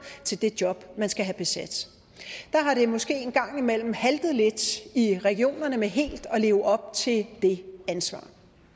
til det job man skal have besat der har det måske en gang imellem haltet lidt i regionerne med helt at leve op til det ansvar